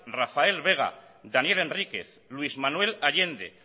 rafael vega daniel enríquez luis manuel allende